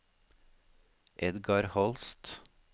Edgar Holst